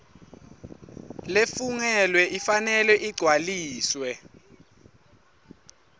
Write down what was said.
lefungelwe ifanele igcwaliswe